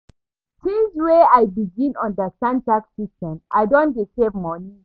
Since wey I begin understand tax system, I don dey save moni.